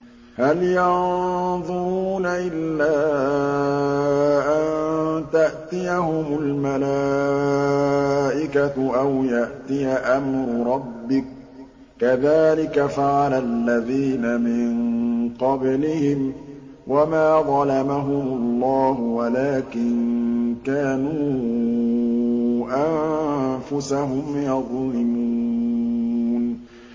هَلْ يَنظُرُونَ إِلَّا أَن تَأْتِيَهُمُ الْمَلَائِكَةُ أَوْ يَأْتِيَ أَمْرُ رَبِّكَ ۚ كَذَٰلِكَ فَعَلَ الَّذِينَ مِن قَبْلِهِمْ ۚ وَمَا ظَلَمَهُمُ اللَّهُ وَلَٰكِن كَانُوا أَنفُسَهُمْ يَظْلِمُونَ